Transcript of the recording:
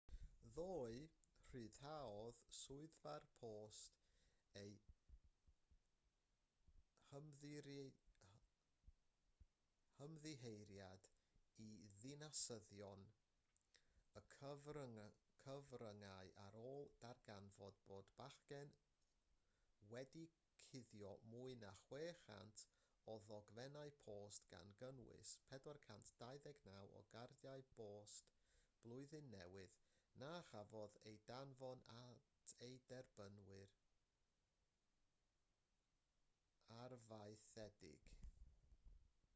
ddoe rhyddhaodd swyddfa'r post eu hymddiheuriad i ddinasyddion a'r cyfryngau ar ôl darganfod bod y bachgen wedi cuddio mwy na 600 o ddogfennau post gan gynnwys 429 o gardiau post blwyddyn newydd na chafodd eu danfon at eu derbynwyr arfaethedig